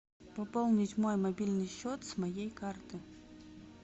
пополнить мой мобильный счет с моей карты